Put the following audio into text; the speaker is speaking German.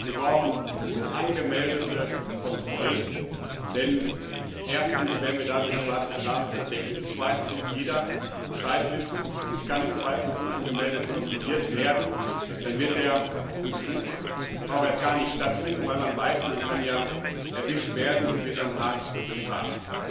Wir brauchen unangemeldete Kontrollen, denn erstens werden wir dadurch schwarze Schafe entdecken, und zweitens muss jeder Bescheid wissen Ich kann im Zweifel unangemeldet kontrolliert werden. Dann wird der Betrug auch gar nicht erst stattfinden, weil man weiß, man kann ja erwischt werden und wird dann hart bestraft.